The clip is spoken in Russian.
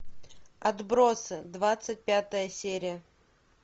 отбросы двадцать пятая серия